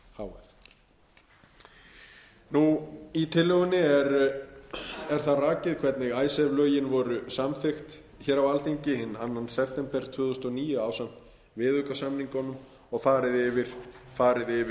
h f í tillögunni er það rakið hvernig icesave lögin voru samþykkt hér á alþingi hinn annan september tvö þúsund og níu ásamt viðaukasamningunum og farið